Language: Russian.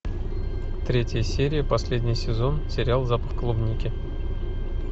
третья серия последний сезон сериал запах клубники